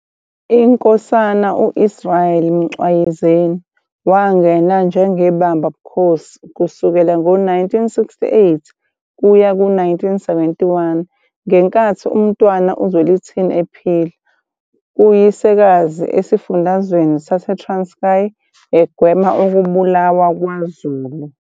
INkosana U-Israel Mcwayizeni wangena njengebamba bukhosi kusukela ngo-1968 kuya ku-1971 ngenkathi uMntwana uZwelithini ephila kuyisekazi esifundazweni saseTranskai egwema ukubulawa kwaZulu.